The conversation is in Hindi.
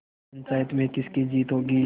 पंचायत में किसकी जीत होगी